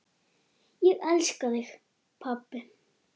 Ég elska þig, pabbi.